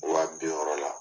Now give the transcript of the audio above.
Wa bi wɔɔrɔ la.